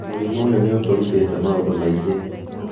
"Mũrimũ ũyũ nĩ ũtũrutĩte maũndũ maingĩ.